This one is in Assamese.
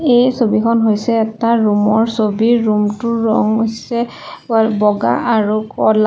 এই ছবিখন হৈছে এটা ৰুম ৰ ছবি ৰুম টোৰ ৰং হৈছে বগা আৰু ক'লা।